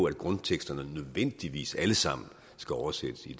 at grundteksterne nødvendigvis alle sammen skal oversættes i